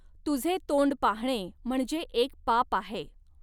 तुझे तोंड पाहणे म्हणजे एक पाप आहे.